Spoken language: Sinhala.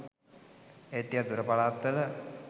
ඒත් ටිකක් දුර පලාත්වල